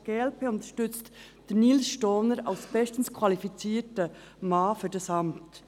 Auch die glp unterstützt Nils Stohner als bestens qualifizierten Mann für dieses Amt.